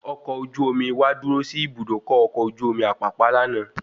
Ọkọ̀ ojú omi wá dúró sí Ibùdókọ̀ ọkọ̀ ojú omi Apapa lànà